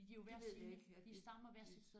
Det ved jeg ikke det det